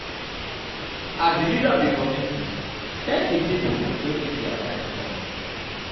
as di leader of di community thank di pipo wey take their time come